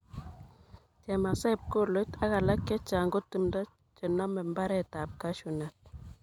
Chemasai, pkoloit ak alak chechang ko timdo chenome mbaretab Cashew nut